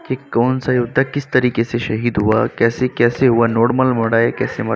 के कौन सा योद्धा किस तरीके से शहीद हुआ कैसे कैसे हुआ नोर्मल मड़ा है। कैसे म--